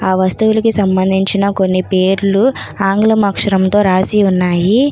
ఆ వస్తువులకు సంబంధించిన కొన్ని పేర్లు ఆంగ్లము అక్షరంతో రాసి ఉన్నాయి.